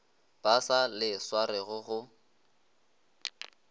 ba sa le swarego go